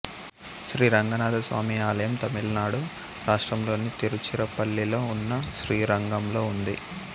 శ్రీరంగనాథస్వామి ఆలయం తమిళనాడు రాష్ట్రంలోని తిరుచిరాపల్లిలో ఉన్న శ్రీరంగంలో ఉంది